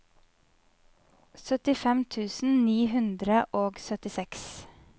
syttifem tusen ni hundre og syttiseks